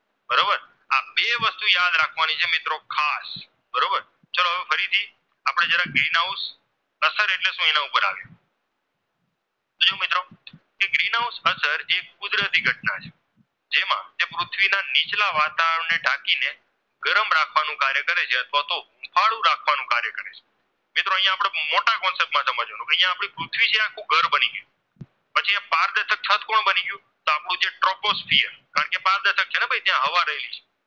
ત્યાં આવા દેવી છે